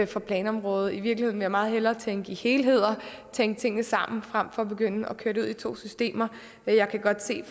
fra planområdet i virkeligheden vil jeg meget hellere tænke i helheder tænke tingene sammen frem for at begynde at køre det ud i to systemer jeg kan godt se